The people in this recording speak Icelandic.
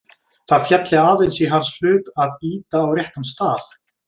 Það félli aðeins í hans hlut að ýta á réttan stað.